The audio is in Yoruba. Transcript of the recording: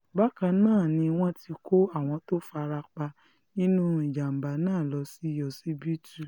bákan náà ni wọ́n ti kó àwọn tó fara pa nínú ìjàm̀bá náà lọ sí ọsibítù